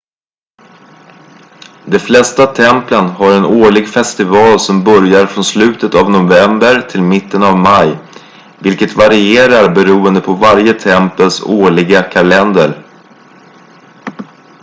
de flesta templen har en årlig festival som börjar från slutet av november till mitten av maj vilket varierar beroende på varje tempels årliga kalender